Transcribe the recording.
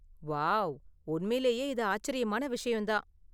Wow, உண்மையிலேயே இது ஆச்சரியமான விஷயம் தான்.